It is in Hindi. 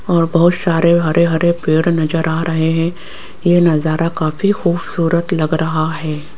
और बहोत सारे हरे हरे पेड़ नजर आ रहे हैं ये नजारा काफी खूबसूरत लग रहा है।